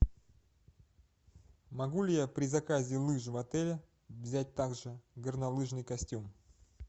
могу ли я при заказе лыж в отеле взять также горнолыжный костюм